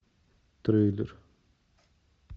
трейлер